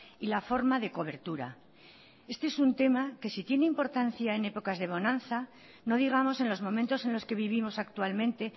y la forma de cobertura este es un tema que si tiene importancia en épocas de bonanza no digamos en los momentos en los que vivimos actualmente